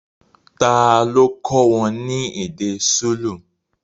Tá lo kọ́ wọn ní èdè Súlù